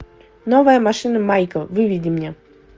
новая машина майка выведи мне